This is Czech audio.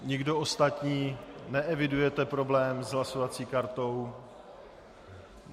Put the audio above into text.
Nikdo ostatní neevidujete problém s hlasovací kartou?